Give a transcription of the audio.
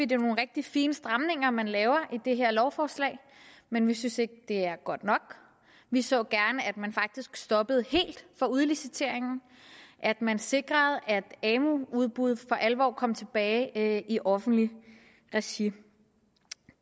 det er nogle rigtig fine stramninger man laver i det her lovforslag men vi synes ikke det er godt nok vi så gerne at man faktisk stoppede helt for udliciteringen at man sikrede at amu udbuddet for alvor kom tilbage i offentligt regi